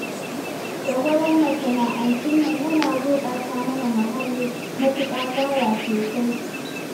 Dagwalon masana'antun nan yana gurɓata mana muhalli, matuƙa gaya sosai